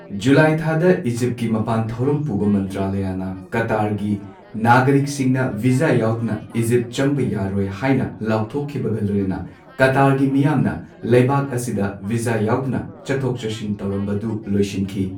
July ꯊꯥꯗ ꯏꯖꯤꯞꯀꯤ ꯃꯄꯥꯟ ꯊꯧꯔꯝ ꯄꯨꯕ ꯃꯟꯇ꯭ꯔꯥꯂꯌꯅ ꯀꯇꯥꯔꯒꯤ ꯅꯥꯒꯔꯤꯛꯁꯤꯡꯅ ꯚꯤꯖꯥ ꯌꯥꯎꯗꯅ ꯏꯖꯤꯞ ꯆꯪꯕ ꯌꯥꯔꯣꯏ ꯍꯥꯏꯅ ꯂꯥꯎꯊꯣꯛꯈꯤꯕꯒ ꯂꯣꯏꯅꯅ ꯀꯇꯥꯔꯒꯤ ꯃꯤꯌꯥꯝꯅ ꯂꯩꯕꯥꯛ ꯑꯁꯤꯗ ꯚꯤꯖꯥ ꯌꯥꯎꯗꯅ ꯆꯠꯊꯣꯛ ꯆꯠꯁꯤꯟ ꯇꯧꯔꯝꯕꯗꯨ ꯂꯣꯏꯁꯤꯟꯈꯤ꯫